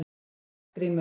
Arngrímur